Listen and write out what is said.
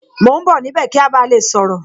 Mo ń bọ̀ níbẹ̀ kí a ba lè sọ̀rọ̀